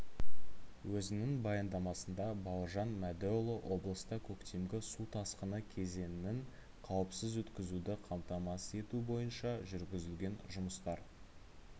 өзінің баяндамасында бауыржан мәдіұлы облыста көктемгі су тасқыны кезеңін қауіпсіз өткізуді қамтамасыз ету бойынша жүргізілген жұмыстар